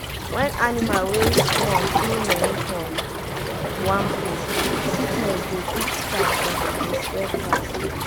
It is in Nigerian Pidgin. when animal wey small too many for one place sickness dey quick start and e dey spread fast.